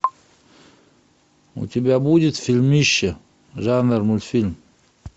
у тебя будет фильмище жанр мультфильм